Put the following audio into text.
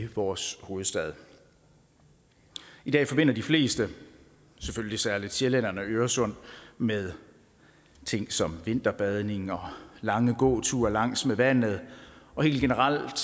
vores hovedstad i dag forbinder de fleste selvfølgelig særlig sjællænderne øresund med ting som vinterbadning og lange gåture langs med vandet og helt generelt